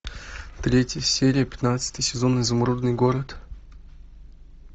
третья серия пятнадцатый сезон изумрудный город